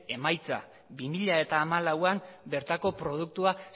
emaitza bi mila hamalauan bertako produktua